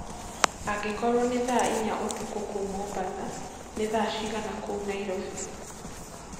angĩkorwo ni thaa ĩnya ũtũkũ kũũ mombatha nĩ thaa cĩĩgana kũũ nairobi